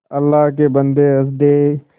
अल्लाह के बन्दे हंस दे